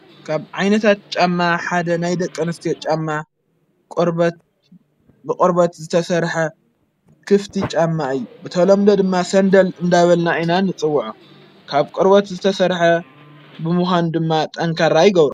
ካብ ዓይነታት ጫማ ሓደ ናይ ደቀንስትዬ ጫማ ብቖርበት ዝተሠርሐ ክፍቲ ጫማ እዩ ብተሎምዶ ድማ ሰንደል እንዳበልናኢናን ጽውዐ ካብ ቈርበት ዝተሠርሐ ብምዃኑ ድማ ጠንካራ ይገብሮ።